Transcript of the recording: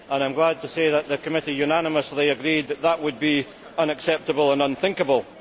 I am glad to say that the committee unanimously agreed that this would be unacceptable and unthinkable.